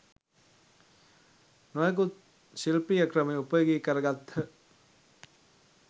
නොයෙකුත් ශිල්පීය ක්‍රම උපයෝගි කරගත්හ.